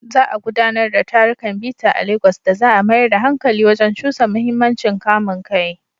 Za a gudanar da tarukan bita a Legas da za a mayar da hankali wajen cusa muhimmancin kamun kai.